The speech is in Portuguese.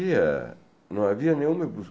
Havia, não havia nenhum